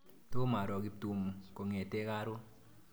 Tom aroo Kiptum kong'ete karon.